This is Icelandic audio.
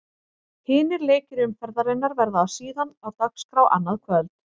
Hinir leikir umferðarinnar verða síðan á dagskrá annað kvöld.